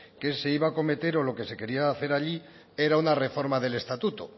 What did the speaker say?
que este iba a acometer o lo que se quería hacer allí era una reforma del estatuto